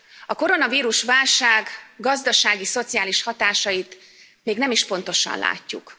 A koronavírus válság gazdasági, szociális hatásait még nem is pontosan látjuk.